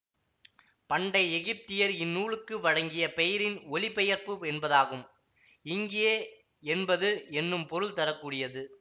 பண்டை எகிப்தியர் இந்நூலுக்கு வழங்கிய பெயரின் ஒலிபெயர்ப்பு என்பதாகும் இங்கே என்பது என்னும் பொருள் தர கூடியது